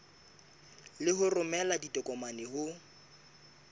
le ho romela ditokomane ho